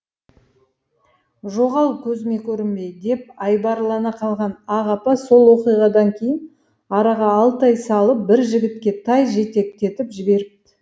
жоғал көзіме көрінбей деп айбарлана қалған ақ апа сол оқиғадан кейін араға алты ай салып бір жігітке тай жетектетіп жіберіпті